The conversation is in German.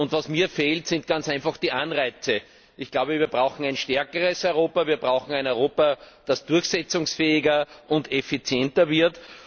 Und was mir fehlt, sind ganz einfach die Anreize. Ich glaube, wir brauchen ein stärkeres Europa, wir brauchen ein Europa, das durchsetzungsfähiger und effizienter wird.